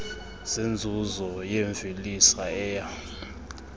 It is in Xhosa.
zenzuzo yemvelisa eya